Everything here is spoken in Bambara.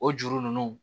O juru ninnu